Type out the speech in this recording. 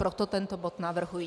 Proto tento bod navrhuji.